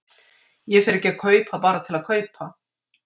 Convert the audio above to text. Ég fer ekki að kaupa bara til að kaupa.